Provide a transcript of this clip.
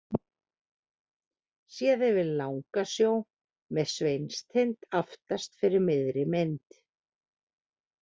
Séð yfir Langasjó með Sveinstind aftast fyrir miðri mynd.